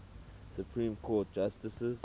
supreme court justices